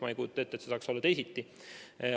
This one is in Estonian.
Ma ei kujuta ette, et saaks olla teisiti.